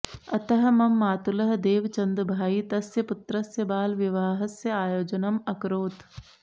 अतः मम मातुलः देवचन्दभाई तस्य पुत्रस्य बालविवाहस्य आयोजनम् अकरोत्